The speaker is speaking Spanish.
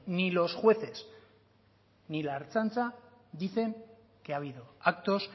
ni los jueces ni la ertzaintza dicen que ha habido actos